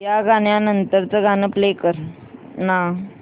या गाण्या नंतरचं गाणं प्ले कर ना